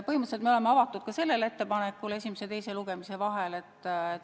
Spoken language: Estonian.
Põhimõtteliselt me oleme avatud ka sellele ettepanekule esimese ja teise lugemise vahel.